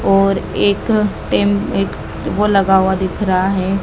और एक टेमलेट वो लगा हुआ दिख रहा है।